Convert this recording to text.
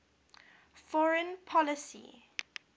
foreign policy